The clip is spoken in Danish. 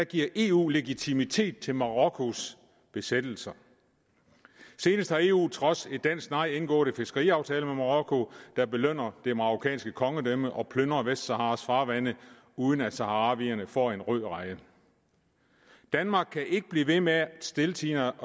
giver eu legitimitet til marokkos besættelse senest har eu på trods af dansk nej indgået en fiskeriaftale med marokko der belønner det marokkanske kongedømme og plyndrer vestsaharas farvande uden at saharawierne får en rød reje danmark kan ikke blive ved med stiltiende